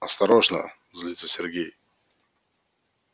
осторожно злится сергей